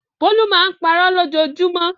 Bólú máa ń parọ́ lójoojúmọ́.